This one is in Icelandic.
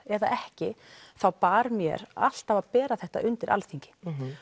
eða ekki þá bar mér alltaf að bera þetta undir Alþingi